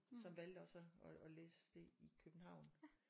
Som valgte og så at læse det i København